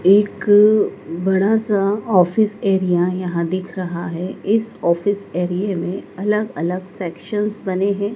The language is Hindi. एक बड़ा सा ऑफिस एरिया यहां दिख रहा है इस ऑफिस एरिया में अलग अलग सेक्शंस बने हैं।